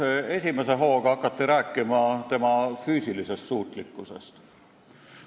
Esimese hooga hakati rääkima tema füüsilisest suutlikkusest.